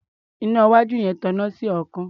Iná iwájú yẹn tan iná sí ọ̀ọ́kán.